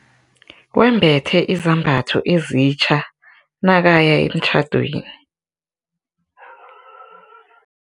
Wembethe izambatho ezitja nakaya emtjhadweni.